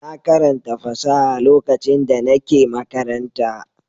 Na karanta fasaha lokacin da nake makaranta.